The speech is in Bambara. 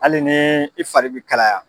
Hali ni i fari bi kalaya.